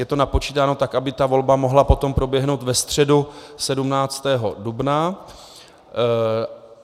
Je to napočítáno tak, aby ta volba mohla potom proběhnout ve středu 17. dubna.